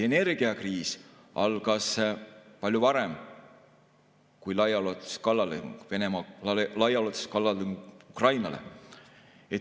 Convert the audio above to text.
Energiakriis algas palju varem kui Venemaa laiaulatuslik kallaletung Ukrainale.